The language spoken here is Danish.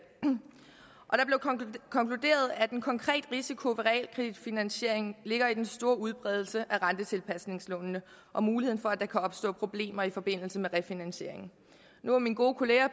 konkluderet at en konkret risiko ved realkreditfinansiering ligger i den store udbredelse af rentetilpasningslånene og muligheden for at der kan opstå problemer i forbindelse med refinansiering nu var min gode kollega